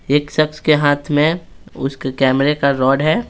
एक शख्स के हाथ में उसके कैमरे का रॉड है।